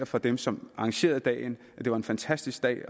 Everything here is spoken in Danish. for dem som arrangerede dagen det var en fantastisk dag